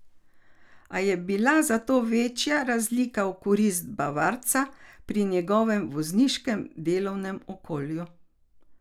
A je bila zato večja razlika v korist bavarca pri njegovem vozniškem delovnem okolju.